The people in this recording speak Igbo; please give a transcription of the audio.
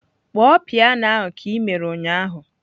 Kpọọ piano ahụ ka ị mere ụnyaahụ!